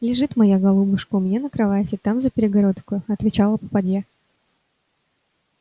лежит моя голубушка у меня на кровати там за перегородкою отвечала попадья